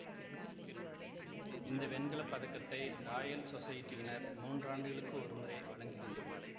இந்த வெண்கல பதக்கத்தை ராயல் சொசைட்டியினர் மூன்றாண்டுகளுக்கு ஒருமுறை வழங்குகின்றனர்